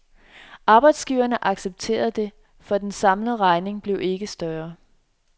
Arbejdsgiverne accepterede det, for den samlede regning blev ikke større.